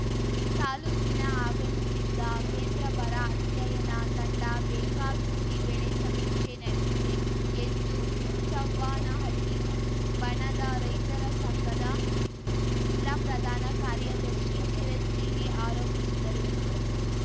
ತಾಲೂಕಿನ ಆಗಮಿಸಿದ್ದ ಕೇಂದ್ರ ಬರ ಅಧ್ಯಯನ ತಂಡ ಬೇಕಾಬಿಟ್ಟಿ ಬೆಳೆ ಸಮೀಕ್ಷೆ ನಡೆಸಿದೆ ಎಂದು ಹುಚ್ಚವ್ವನಹಳ್ಳಿ ಬಣದ ರೈತರ ಸಂಘದ ಜಿಲ್ಲಾ ಪ್ರಧಾನ ಕಾರ್ಯದರ್ಶಿ ಚಿರಂಜೀವಿ ಆರೋಪಿಸಿದರು